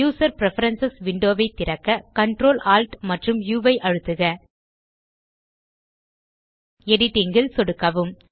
user preferences window ஐ திறக்க Ctrl Alt amp உ ஐ அழுத்துக எடிட்டிங் ல் சொடுக்கவும்